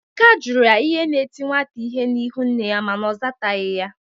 Emeka jụrụ ya ihe na-eti nwata ihe n'ịhụ nne ya mana ọ zataghị ya.